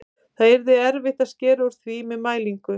Það yrði erfitt að skera úr því með mælingu.